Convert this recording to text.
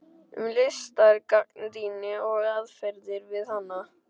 Um listgagnrýni og aðferðir við hana